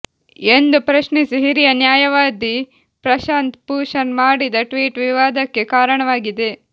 ಎಂದು ಪ್ರಶ್ನಿಸಿ ಹಿರಿಯ ನ್ಯಾಯವಾದಿ ಪ್ರಶಾಂತ್ ಭೂಷಣ್ ಮಾಡಿದ ಟ್ವೀಟ್ ವಿವಾದಕ್ಕೆ ಕಾರಣವಾಗಿದೆ